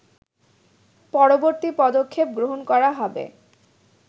পরবর্তী পদক্ষেপ গ্রহণ করা হবে